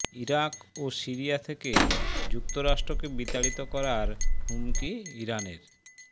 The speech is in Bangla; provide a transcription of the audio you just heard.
ইরাক ও সিরিয়া থেকে যুক্তরাষ্ট্রকে বিতাড়িত করার হুমকি ইরানের